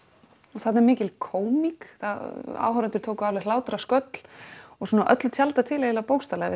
og þarna er mikil kómík áhorfendur tóku alveg hlátrasköll og öllu tjaldað til bókstaflega við